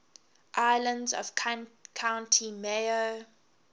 islands of county mayo